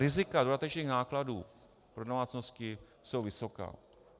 Rizika dodatečných nákladů pro domácnosti jsou vysoká.